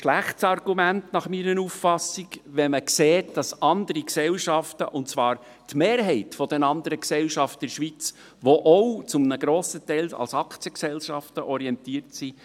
Dies ist nach meiner Auffassung ein schlechtes Argument, wenn man sieht, dass andere Gesellschaften eben bessere Konditionen bieten – und zwar die Mehrheit der anderen Gesellschaften in der Schweiz, die ebenfalls zu einem grossen Teil als Aktiengesellschaften orientiert sind.